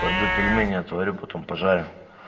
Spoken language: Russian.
пойду пельмени отварю потом пожарю